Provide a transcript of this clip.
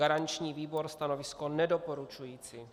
Garanční výbor stanovisko nedoporučující.